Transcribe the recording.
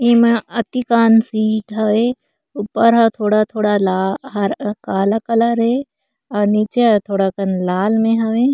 एमा अतिकान्सिद हवे ऊपर ह थोड़ा-थोड़ा ला हरा काला कलर हे अऊ नीचे ह थोड़ा कन लाल मे हवय।